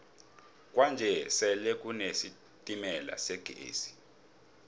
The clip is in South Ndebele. kwanje sele kune sitemala segezi